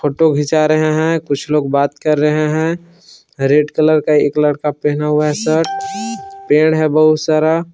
Photo खींचा रहे हैं कुछ लोग बात कर रहे हैं रेड कलर का एक लड़का पहना हुआ है शर्ट पेड़ है बहुत सारा।